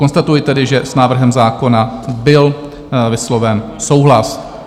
Konstatuji tedy, že s návrhem zákona byl vysloven souhlas.